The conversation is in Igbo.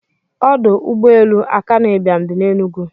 Odụ ụgbọ elu akanu ibiam di n'enugu.